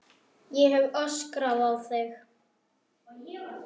Ég hef öskrað á þig!